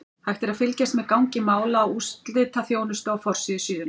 Hægt er að fylgjast með gangi mála á úrslitaþjónustu á forsíðu síðunnar.